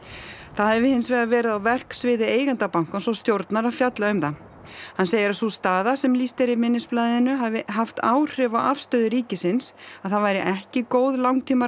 það hafi hins vegar verið á verksviði eigenda bankans og stjórnar að fjalla um það hann segir að sú staða sem lýst er í minnisblaðinu hafi haft áhrif á afstöðu ríkisins að það væri ekki góð